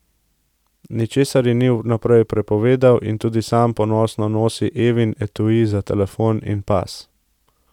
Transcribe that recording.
Ničesar ji ni vnaprej prepovedal in tudi sam ponosno nosi Evin etui za telefon in pas.